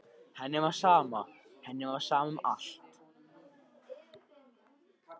Henni var sama, henni var sama um allt.